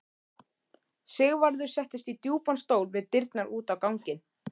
Sigvarður settist í djúpan stól við dyrnar út á ganginn.